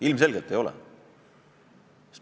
Ilmselgelt ei ole!